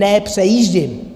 Ne přejíždím.